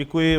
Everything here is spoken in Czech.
Děkuji.